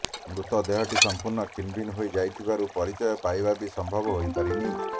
ମୃତଦେହଟି ସମ୍ପୂର୍ଣ୍ଣ ଖିନଭିନ ହୋଇ ଯାଇଥିବାରୁ ପରିଚୟ ପାଇବା ବି ସମ୍ଭବ ହୋଇପାରିନି